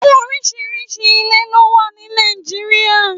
Órìṣírìṣí ilé ló wà ni Nàijiriá